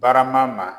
Barama ma